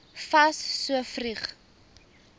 fas so vroeg